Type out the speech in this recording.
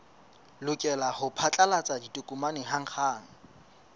lokela ho phatlalatsa ditokomane hanghang